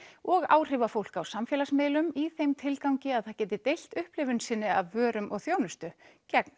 og áhrifafólk á samfélagsmiðlum í þeim tilgangi að það geti deilt upplifun sinni af vörum og þjónustu gegn